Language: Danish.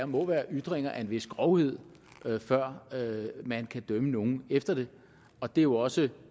må være ytringer af en vis grovhed før man kan dømme nogen efter det og det er jo også